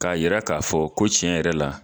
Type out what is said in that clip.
K'a yɛrɛ k'a fɔ ko tiɲɛ yɛrɛ la